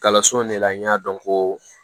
Kalanso in de la n y'a dɔn ko